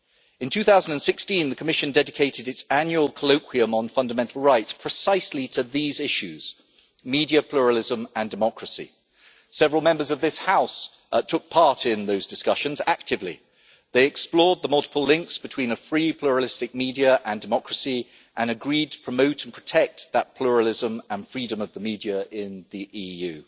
In 2016 the Commission dedicated its annual colloquium on fundamental rights precisely to these issues media pluralism and democracy. Several Members of this House took part in those discussions actively. They explored the multiple links between a free pluralistic media and democracy and agreed to promote and protect that pluralism and freedom of the media in the EU.